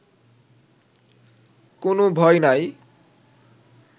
কোনো ভয় নাই